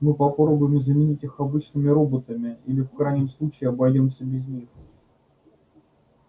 мы попробуем заменить их обычными роботами или в крайнем случае обойдёмся без них